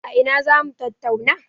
A ina za mu tattauna?